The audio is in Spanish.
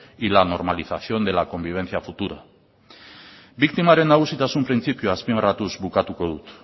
y la normalización de la convivencia futura biktimaren nagusitasun printzipioa azpimarratuz bukatuko dut